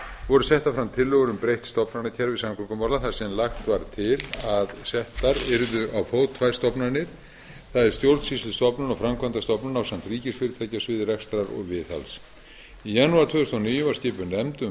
voru settar fram tillögur um breytt stofnanakerfi samgöngumála þar sem lagt var til að settar yrðu á fót tvær stofnanir það er stjórnsýslustofnun og framkvæmdastofnun ásamt ríkisfyrirtæki á sviði rekstrar og viðhalds í janúar tvö þúsund og níu var skipuð nefnd um